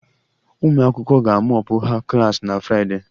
Ụmụ akwụkwọ ga mop ha klas na Friday